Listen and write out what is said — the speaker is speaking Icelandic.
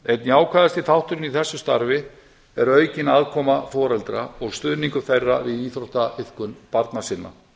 einn jákvæðasti þátturinn í þessu starfi er aukin aðkoma foreldra og stuðningur þeirra við íþróttaiðkun barna sinna